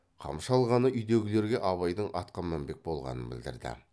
қамшы алғаны үйдегілерге абайдың атқа мінбек болғанын білдірді